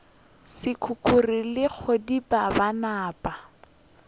sekukuru le kgadika ba napa